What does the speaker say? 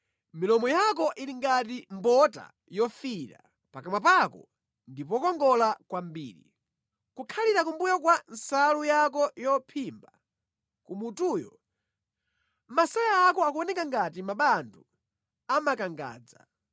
Milomo yako ili ngati mbota yofiira; pakamwa pako ndi pokongola kwambiri. Kukhalira kumbuyo kwa nsalu yako yophimba kumutuyo, masaya ako akuoneka ngati mabandu a makangadza.